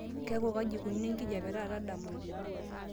keeku kaji eneikununo enkijiape taata dama